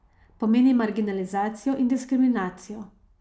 Pomeni marginalizacijo in diskriminacijo.